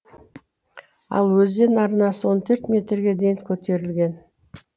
ал өзен арнасы он төрт метрге дейін көтерілген